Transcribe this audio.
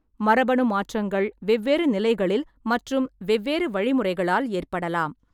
மரபணு மாற்றங்கள் வெவ்வேறு நிலைகளில் மற்றும் வெவ்வேறு வழிமுறைகளால் ஏற்படலாம்.